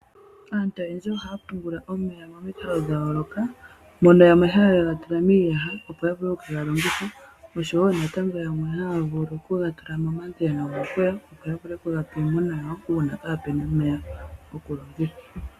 Aantu oyendji ohaya pungula omeya momikalo dha yooloka mono yamwe haye ga tula miiyaha opo ya vule okukega longitha oshowo yamwe haya vulu okuga tula momayemele, opo ya vule okuga pa iimuna ano uuna kape na omeya gokulongitha.